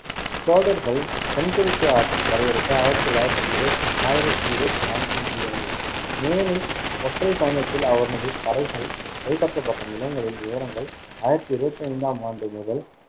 சோழர்கள் தென்கிழக்கு ஆசியப் படையெடுப்பு ஆயிரத்தி தொள்ளாயிரத்~ ஆயிரத்தி இருவத்தி நான்கில் முடிவடைந்தது, மேலும் ஒற்றைப் பயணத்தில் அவனது படைகள் கைப்பற்றப்பட்ட நிலங்களின் விவரங்கள் ஆயிரத்தி இருவத்தி ஐந்தாம் ஆண்டு முதல்